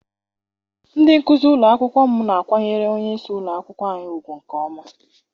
Ndị nkụzi ụlọ akwụkwọ m na-akwanyere onyeisi ụlọakwụkwọ anyị ugwu nke ọma.